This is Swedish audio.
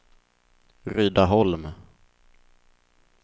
Rydaholm